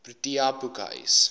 protea boekhuis